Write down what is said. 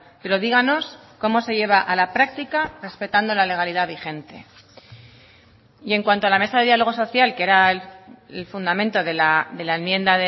pero díganos cómo se lleva a la práctica respetando la legalidad vigente y en cuanto a la mesa de diálogo social que era el fundamento de la enmienda